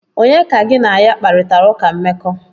Onye ka gi na ya kparita uka mmeko?